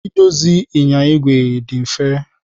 Idozi ịnyịnya igwe dị mfe.